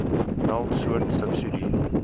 meld soort subsidie